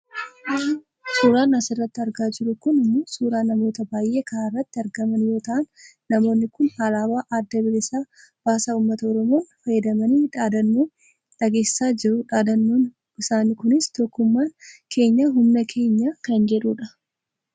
Suuraan asirratti argaa jirru kun ammoo suuraa namoota baayyee karaarratti argaman yoo ta'an namoonni kun Alaabaa Adda Bilisa Baasaa uummata Oromoon faayyamanii daadhannoo dhageessisaa jiru daadhannoon isaanii kunis " Tokkummaan Keenya Humna Keenya" kan jedhudha